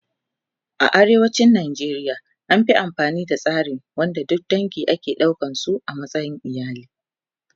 A nan arewacin Najeriya an Fi amfani da tsari wanda duk dange ake ɗaukan su a matsayin iyali